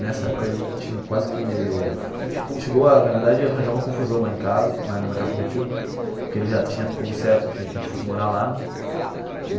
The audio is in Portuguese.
Nessa época, a gente quase que a gente chegou a na verdade a arranjar uma confusão lá em casa na na casa do meu tio, porque ele já tinha como certo que que a gente fosse morar lá.